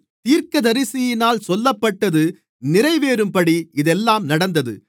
தீர்க்கதரிசியினால் சொல்லப்பட்டது நிறைவேறும்படி இதெல்லாம் நடந்தது